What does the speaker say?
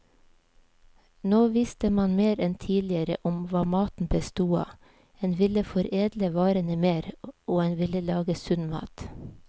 Nå visste man mer enn tidligere om hva maten bestod av, en ville foredle varene mer, og en ville lage sunn mat.